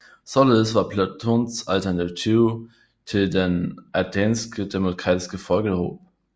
Således var Platons alternativ til den athenske demokratiske folkehob